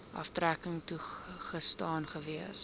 aftrekking toegestaan gewees